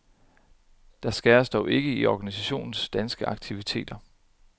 Der skæres dog ikke i organisationens danske aktiviteter.